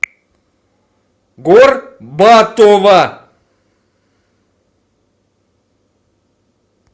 горбатова